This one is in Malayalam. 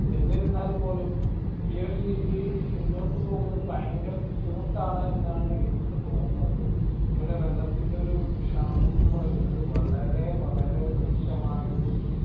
എന്നിരുന്നാൽ പോലും ഈ ഒരു രീതിയിൽ മുന്നോട്ട് പോകുന്നത് ഭയങ്കര ബുദ്ധിമുട്ടാണ് എന്നാണ് എനിക്ക് തോന്നുന്നത് ഇവിടെ വെള്ളത്തിന്റെ ഒരു ക്ഷാമം ന്നു പറയുന്നത് വളരെ വളരെ രൂക്ഷമായ ഒരു